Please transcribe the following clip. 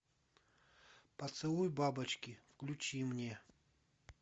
поцелуй бабочки включи мне